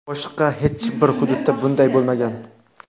Boshqa hech bir hududda bunday bo‘lmagan.